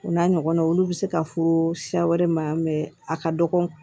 U n'a ɲɔgɔnnaw olu bɛ se ka fɔ siya wɛrɛ ma a ka dɔgɔ